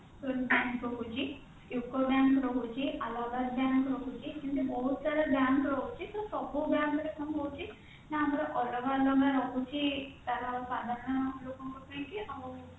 bank ରହୁଛି bank ରହୁଛି Allahabad bank ରହୁଛି ବହୁତ ସାରା bank ରହୁଛି ତ ସବୁ bank ରେ କଣ ହଉଛି ନା ଅଲଗା ଅଲଗା ରହୁଛି ତାର ସାଧାରଣ ଲୋକଙ୍କ ପାଇଁକି ଆଉ